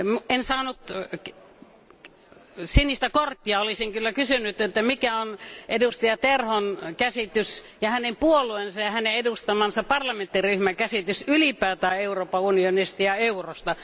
En saanut sinistä korttia, olisin kyllä kysynyt, että mikä on edustaja Terhon käsitys ja hänen puolueensa ja hänen edustamansa parlamenttiryhmän käsitys ylipäänsä Euroopan unionista ja eurosta.